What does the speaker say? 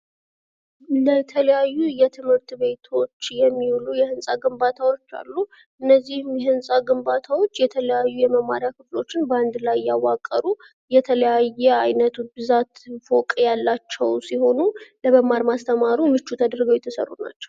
የተለያዩ የትምህርት ቤቶች የሚውሉ የህንጻ ግንባታዎች አሉ እነዚህ የህንፃ ግንባታዎች የተለያዩ የመማሪያ ክፍሎችን በአንድ ላይ ያዋቀሩ የተለያየ ብዛት ፎቅ ያላቸው ሲሆኑ ለመማር ማስተማሩ ምቹ ተደርገው የተሰሩ ናቸው።